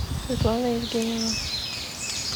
светлана евгеньевна